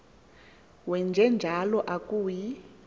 wenje njalo akuyi